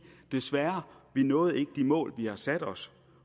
desværre vi nåede ikke de mål vi har sat os